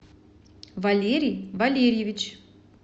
валерий валерьевич